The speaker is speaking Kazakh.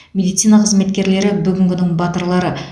медицина қызметкерлері бүгінгінің батырлары